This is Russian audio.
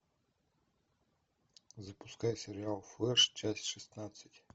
запускай сериал флеш часть шестнадцать